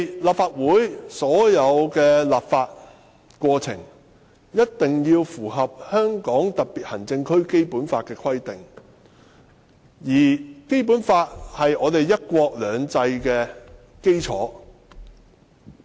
立法會的所有立法過程必須符合《基本法》的規定，而《基本法》是"一國兩制"的基礎。